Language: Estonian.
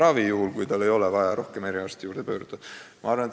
Seda muidugi juhul, kui tal ei ole vaja mõne eriarsti poole pöörduda.